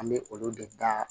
An bɛ olu de da